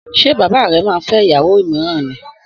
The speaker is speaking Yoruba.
Sé bàbá re máa fé ìyàwó míràn ni?